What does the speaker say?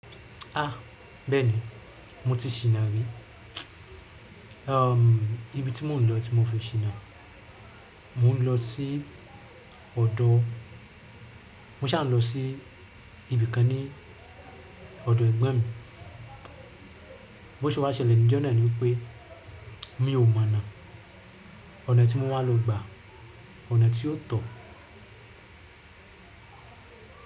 Ah! Bẹ́ẹ̀ni, mo ti ṣìnà rí. Ibi tí mò ń lọ tí mo fi ṣìnà, mò ń lọ sí ọ̀dọ́, mo ṣà ń lọ sí ibì kan ní ọ̀dọ̀ Ẹ̀gbọ́n mi. Bó ṣe wá ṣẹlẹ̀ níjọ́ náà ni pé mi ò mọ̀nà. Ọ̀nà tí mo máa lò gbà, ọ̀nà tí ò tọ́.